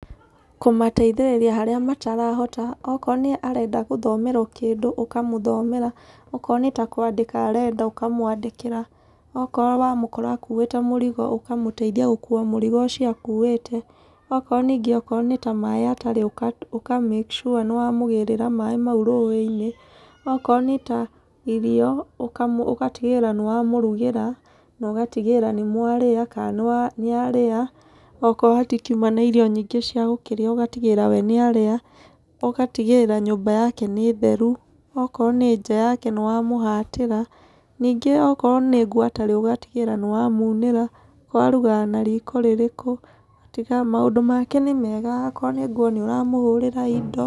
Kũmateithĩria harĩa matarahota okorwo nĩ arenda gũthomerwo kĩndũ, ũkamũthomera. Okorwo nĩ ta kwandĩka arenda ũkamwandĩkĩra. Okorwo wamũkora akuuĩte mũrigo ũkamũteithia gũkua mũrigo ũcio akuuĩte. Okorwo ningĩ okorwo nĩ ta maaĩ atarĩ ũka make sure nĩwamũgĩrĩra maaĩ mau rũũĩ-inĩ. Okorwo nĩ ta irio ũgatigĩrĩra nĩwamũrugĩra. Na ũgatĩgĩrĩra nĩmwarĩa, kana nĩarĩa, okorwo hatikiuma na irio nyingĩ cia gũkĩrĩa ũgatigĩrĩra we nĩarĩa. Ũgatigĩrĩra nyũmba yake nĩ theru, okorwo nĩ nja yake nĩwamũhatĩra. Ningĩ okorwo nĩ ngũ atarĩ ũgatigĩrĩra nĩwamunĩra okorwo arugaga na riko rĩrĩkũ. Ũgatiga maũndũ make ni mega. Okorwo ni nguo nĩũramũhũrĩra, indo...